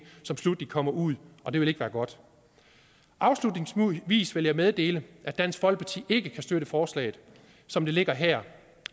som sluttelig kommer ud og det vil ikke være godt afslutningsvis vil jeg meddele at dansk folkeparti ikke kan støtte forslaget som det ligger her